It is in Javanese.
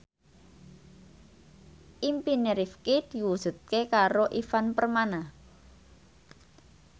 impine Rifqi diwujudke karo Ivan Permana